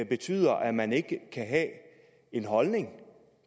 betyder at man ikke kan have en holdning